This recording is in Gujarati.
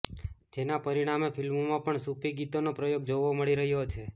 જેના પરિણામે ફિલ્મોમાં પણ સૂફી ગીતોનો પ્રયોગ જોવા મળી રહ્યો છે